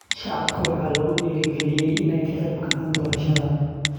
Shacabka waxaa lagu dhiirigelinayaa in ay ka qeybgalaan doorashada.